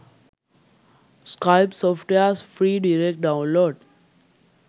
skype softwares free direct download